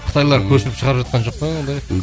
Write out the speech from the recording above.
қытайлар көшіріп шығарып жатқан жоқ па ондай